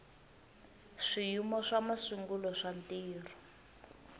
swiyimo swa masungulo swa ntirho